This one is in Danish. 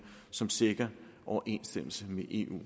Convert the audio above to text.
som sikrer overensstemmelse med eu